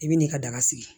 I bɛ n'i ka daga sigi